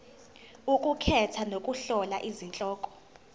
ukukhetha nokuhlola izihloko